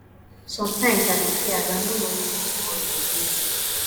sometimes i dey fear as i no know wetin tomorrow go bring